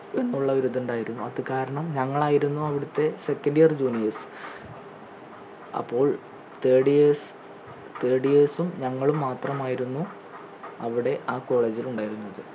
എന്നുള്ള ഒരിതുണ്ടായിരുന്നു അത് കാരണം ഞങ്ങളായിരുന്നു അവിടത്തെ second year juniors അപ്പൊൾ third years third years ഉം ഞങ്ങളും മാത്രമായിരുന്നു അവിടെ ആ college ൽ ഉണ്ടായിരുന്നത്